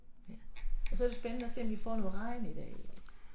Ja og så er det spændende at se om vi får noget regn i dag